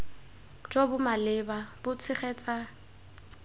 jo bo maleba bo tshegetsa